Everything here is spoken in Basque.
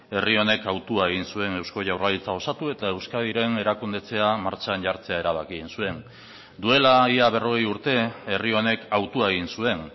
herri honek hautua egin zuen eusko jaurlaritza osatu eta euskadiren erakundetzea martxan jartzea erabaki egin zuen duela ia berrogei urte herri honek hautua egin zuen